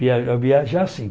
Viajar, viajar sim.